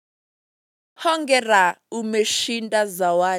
Hongera ume shinda zawadi.